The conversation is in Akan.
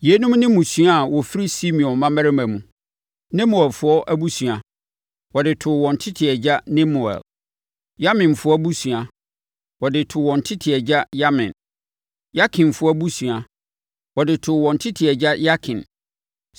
Yeinom ne mmusua a wɔfiri Simeon mmammarima mu: Nemuelfoɔ abusua, wɔde too wɔn tete agya Nemuel. Yaminfoɔ abusua, wɔde too wɔn tete agya Yamin. Yakinfoɔ abusua, wɔde too wɔn tete agya Yakin.